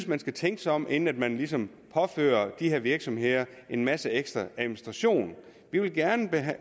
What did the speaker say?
man skal tænke sig om inden man ligesom påfører de her virksomheder en masse ekstra administration vi vil gerne